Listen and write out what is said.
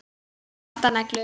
Svartar neglur.